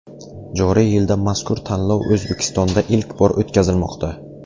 Joriy yilda mazkur tanlov O‘zbekistonda ilk bor o‘tkazilmoqda.